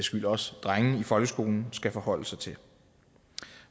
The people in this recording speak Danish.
skyld også drenge i folkeskolen skal forholde sig til